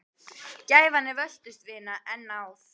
Gæfan er völtust vina, en náð